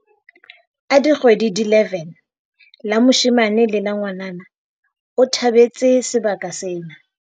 a dikgwedi di 11, la moshe mane le la ngwanana, o tha betse sebaka sena.